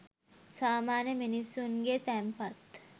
සාමාන්‍ය මිනිස්සුන්ගේ තැන්පත්.